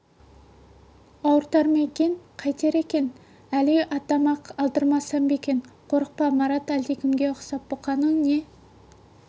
ауыртар ма екен қайтер екен әли атама-ақ алдырсам ба екен қорықпа марат әлдекімге ұқсап бұққаның не